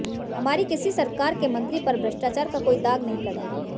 हमारी किसी सरकार के मंत्री पर भ्रष्टाचार का कोई दाग नहीं लगा